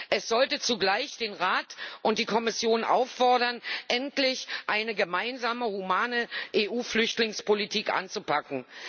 Es sollte jedoch zugleich den Rat und die Kommission auffordern, endlich eine gemeinsame humane EU Flüchtlingspolitik anzupacken.